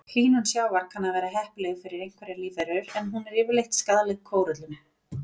Hlýnun sjávar kann að vera heppileg fyrir einhverjar lífverur en hún er yfirleitt skaðleg kóröllum.